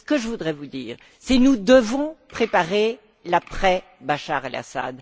Ce que je voudrais vous dire, c'est que nous devons préparer l'après Bachar al Assad.